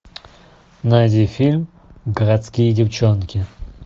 найди фильм городские девчонки